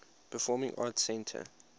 performing arts center